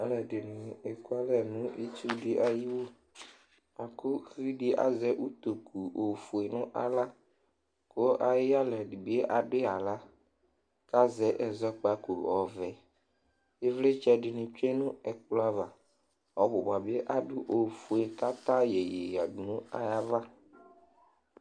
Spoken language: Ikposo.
Alʋɛdɩnɩ ekualɛ nʋ itsu dɩ ayiwu La kʋ uvi dɩ azɛ utoku ofue nʋ aɣla kʋ ayʋ ɩyalɛ dɩ bɩ adʋ yɩ aɣla kʋ azɛ ɛzɔkpako ɔvɛ Ɩvlɩtsɛ dɩnɩ tsue nʋ ɛkplɔ ava Ɔbʋ ba bɩ adʋ ofue kʋ ata yeye yǝdu nʋ ayava